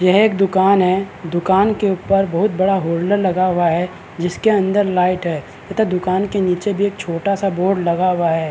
यह एक दूकान है दूकान के उपर बहुत बड़ा होल्डर लगा हुआ है जिसके अन्दर लाइट है तथा दूकान के नीचे भी एक छोटा सा बोर्ड लगा हुआ है।